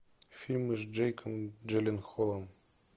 фильмы с джейком джилленхолом